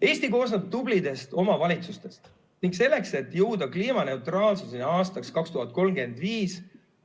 Eesti koosneb tublidest omavalitsustest ning selleks, et jõuda kliimaneutraalsuseni aastaks 2035,